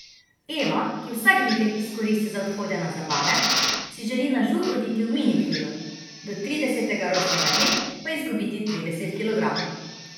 Eva, ki vsak vikend izkoristi za odhode na zabave, si želi na žur oditi v mini krilu, do tridesetega rojstnega dne pa izgubiti trideset kilogramov.